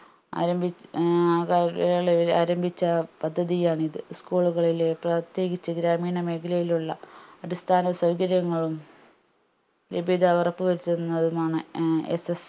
ആരംഭിച്ച് ഏർ ആ കാലങ്ങളിൽ ആരംഭിച്ച പദ്ധതിയാണിത് school ലുകളിലെ പ്രത്യേകിച്ച് ഗ്രാമീണ മേഖലയിലുള്ള അടിസ്ഥാന സൗകര്യങ്ങളും ലഭ്യത ഉറപ്പ് വരുത്തുന്നതുമാണ് ഏർ SS